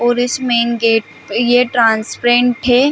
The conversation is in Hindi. और इस मेन गेट और ये ट्रांसपेरेंट है।